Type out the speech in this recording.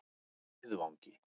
Miðvangi